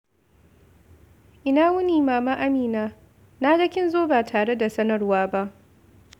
Ina wuni, Mama Amina! Na ga kin zo ba tare da sanarwa ba.